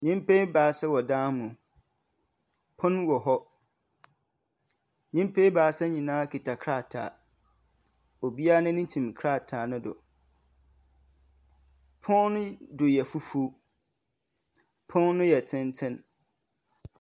Nyimpa ebiasa wɔ dan mu, pon wɔ hɔ, nyimpa ebiasa nyina kitsa krataa, obiara n’enyi tsim krataa no do. Pon no do yɛ fufuw. Pon no yɛ tsentsen.